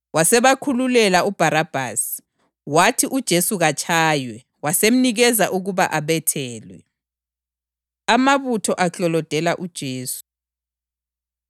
Wasebakhululela uBharabhasi. Wathi uJesu katshaywe, wasemnikeza ukuba abethelwe. Amabutho Aklolodela UJesu